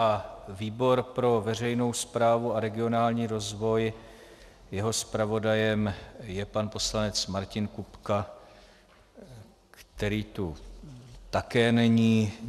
A výbor pro veřejnou správu a regionální rozvoj - jeho zpravodajem je pan poslanec Martin Kupka, který tu také není.